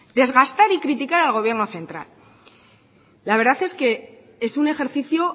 desgastar y criticar al gobierno central la verdad es que es un ejercicio